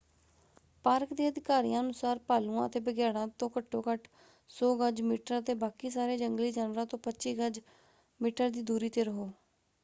Park ਦੇ ਅਧਿਕਾਰੀਆਂ ਅਨੁਸਾਰ ਭਾਲੂਆਂ ਅਤੇ ਬਘਿਆੜਾਂ ਤੋਂ ਘੱਟੋ ਘੱਟ 100 ਗਜ/ਮੀਟਰ ਅਤੇ ਬਾਕੀ ਸਾਰੇ ਜੰਗਲੀ ਜਾਨਵਰਾਂ ਤੋਂ 25 ਗਜ/ਮੀਟਰ ਦੀ ਦੂਰੀ ‘ਤੇ ਰਹੋ!